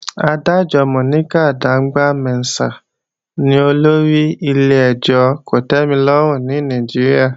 Adájọ́ Monica Dongban-Mensem ni olórí ilé-ẹjọ́ kòtẹ́milọ́rùn ní Nàìjíríà